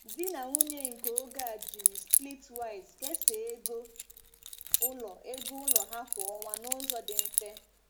Di na nwunye nke oge a jiri Splitwise kesaa ego ụlọ ego ụlọ ha kwa ọnwa n'ụzọ dị mfe.